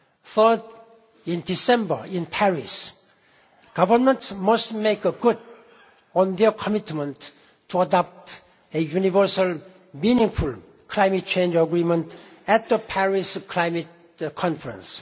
Third, in December in Paris, governments must make good on their commitment to adopt a universal, meaningful climate change agreement at the Paris Climate Conference.